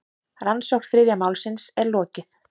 Rannsókn þriðja málsins er lokið.